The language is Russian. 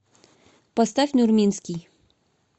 поставь нурминский